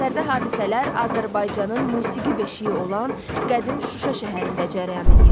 Əsərdə hadisələr Azərbaycanın musiqi beşiği olan qədim Şuşa şəhərində cərəyan eləyir.